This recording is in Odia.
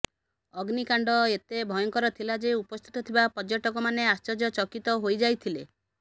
ଅଗ୍ନିକାଣ୍ଡ ଏତେ ଭୟଙ୍କର ଥିଲା ଯେ ଉପସ୍ଥିତ ଥିବା ପର୍ଯ୍ୟଟକ ମାନେ ଆଶ୍ଚର୍ଯ୍ୟ ଚକିତ ହୋଇ ଯାଇଥିଲେ